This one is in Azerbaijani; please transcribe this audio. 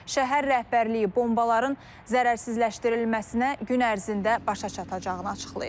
Şəhər rəhbərliyi bombaların zərərsizləşdirilməsinə gün ərzində başa çatacağını açıqlayıb.